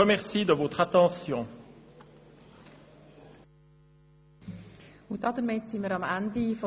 Damit sind wir am Ende der Geschäfte der BVE angelangt.